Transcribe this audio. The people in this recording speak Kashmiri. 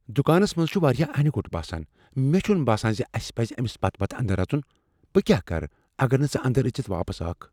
دکانس منز چھ واریاہ انِہ گوٚٹ باسان۔ مےٚ چھنہٕ باسان زِ اسِہ پَزِ أمِس پتہٕ پتہٕ اندر اژُن۔ بہٕ کیا کرٕ اگر نہٕ ژٕ اندر أژِتھ واپس آکھ۔